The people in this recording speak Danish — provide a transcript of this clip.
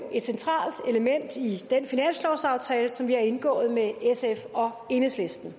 et centralt element i den finanslovsaftale som vi har indgået med sf og enhedslisten